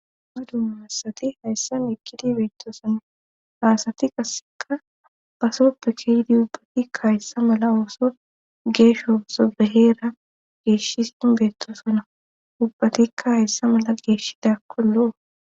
Madun massati hayssan ekkidi beettoosan haasati qasseka pasoppe keydi ubbatikka hayssa mala ooso geeshsho ooso beheera geeshis inbeettosona ubbatikka hayssa mala geeshida kolloo